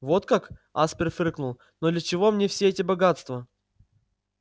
вот как аспер фыркнул но для чего мне все эти богатства